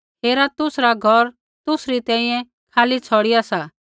हेरा तुसरा घौर तुसरी तैंईंयैं खाली छ़ौड़िआ सा